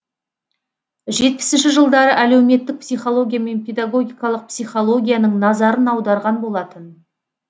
жетпісінші жылдары әлеуметтік психология мен педагогикалық психологияның назарын аударған болатын